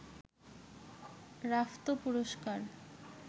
Rafto পুরস্কার